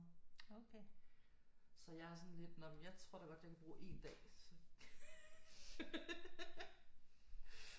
Så jeg er sådan lidt nå men jeg tror da godt jeg kan bruge 1 dag